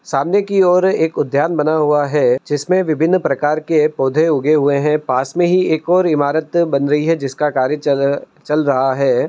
सामने की और एक उद्यान बना हुआ है जिसमें विभिन्न प्रकार के पौधे उगे हुए है। पास में ही एक और ईमारत बन रही है जिसका कार्य चल चल रहा है।